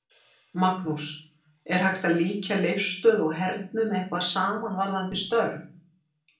Magnús: Er hægt að líkja Leifsstöð og hernum eitthvað saman varðandi störf?